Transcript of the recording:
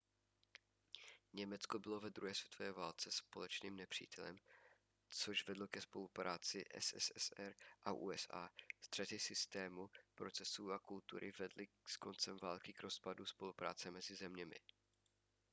německo bylo ve druhé světové válce společným nepřítelem což vedlo ke spolupráci mezi sssr a usa střety systému procesů a kultury vedly s koncem války k rozpadu spolupráce mezi zeměmi